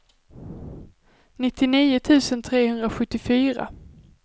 nittionio tusen trehundrasjuttiofyra